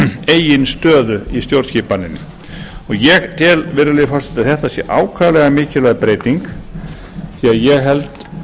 eigin stöðu í stjórnskipaninni og ég tel virðulegi forseti að þetta sé ákaflega mikilvæg breyting því ég held